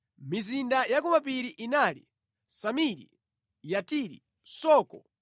Mizinda ya kumapiri inali: Samiri, Yatiri, Soko,